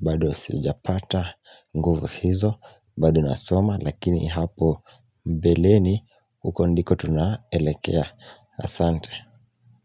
bado sijapata nguvu hizo bado nasoma lakini hapo mbeleni huko ndiko tunaelekea Asante.